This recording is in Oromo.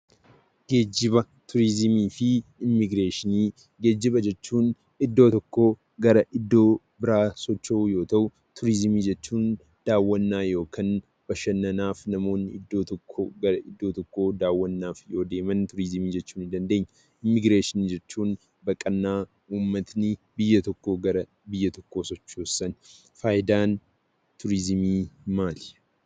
Geejjiba, Turizimii fi immigireeshinii. Geejjiba jechuun iddoo tokko gara iddoo biraa socho'uu yoo ta'uu, Turizimii jechuun dawwaana yookaan bashannaanaaf namoonni iddoo tokko gara iddoo tokko dawwanaaf yoo deemaan turizimii jechuu ni dandeenya. Immigireeshinii baqana uumatni biyyaa tokko gara biyya tokko socho'ani. Faayiidaam turizimii maali?